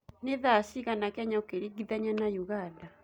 ni thaa cĩĩgana Kenya ukiringithania na uganda